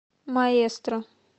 маэстро